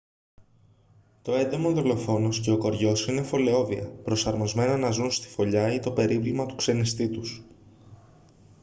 το έντομο-δολοφόνος και ο κοριός είναι φωλεόβια προσαρμοσμένα να ζουν στη φωλιά ή το περίβλημα του ξενιστή τους